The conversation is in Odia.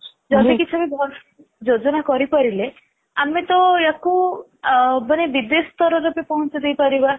ଯଦି କିଛି ବି ଯୋଜନା କରି ପାରିଲେ ଆମେ ତ ୟାକୁ ମାନେ ବିଦେଶ ସ୍ତରରେ ବି ପହଞ୍ଚେଇ ଦେଇ ପାରିବା